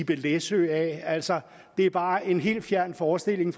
læsø altså det er bare en helt fjern forestilling